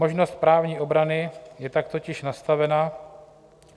Možnost právní obrany je tak totiž nastavena .